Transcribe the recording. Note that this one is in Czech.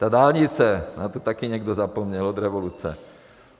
Ta dálnice, na tu taky někdo zapomněl od revoluce.